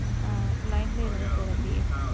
ஆஹ் line லையே இருங்க sir அப்டியே